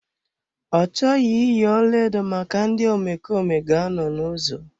Ọ chọghị iyi ọlaedo maka ndị omekome ga anọ n'ụzọ.